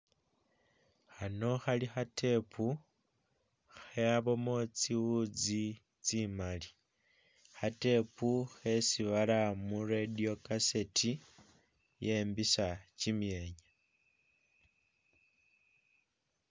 Khano Khali kha'tape khabamo tsiwuzi tsimali kha'tape khesi bara mu'radio kaseti yembisa kyimyenya.